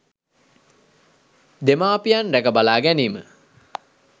දෙමාපියන් රැකබලා ගැනීම